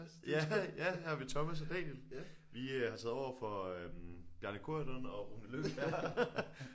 Ja ja her har vi Thomas og Daniel vi øh har taget over for øh Bjarne Corydon og Rune Lykkeberg